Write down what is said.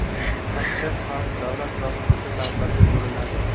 Tashqi qarz davlat va xususiy qarzlarga bo‘linadi.